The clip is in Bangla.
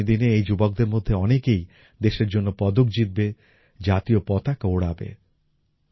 আগামী দিনে এই যুবকদের মধ্যে অনেকেই দেশের জন্য পদক জিতবে জাতীয় পতাকা ওড়াবে